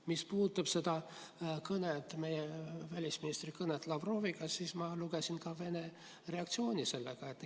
Mis puudutab meie välisministri kõnet Lavroviga, siis ma lugesin ka Vene reaktsioonist sellele.